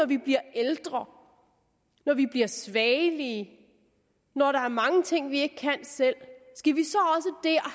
vi bliver ældre når vi bliver svagelige når der er mange ting vi ikke kan selv at